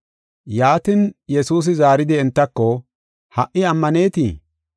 Yaatin, Yesuusi zaaridi entako, “Ha77i ammanetii?